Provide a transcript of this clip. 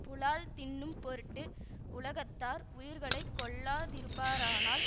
புலால் தின்னும் பொருட்டு உலகத்தார் உயிர்களை கொல்லா திருப்பாரானால்